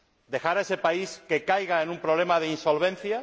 ¿Dejar que ese país caiga en un problema de insolvencia?